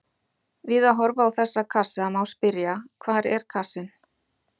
Við að horfa á þessa kassa má spyrja: hvar er kassinn?